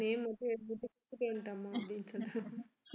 name மட்டும் எழுதிட்டு குடுத்துட்டு அப்படின்னு சொல்லிட்டு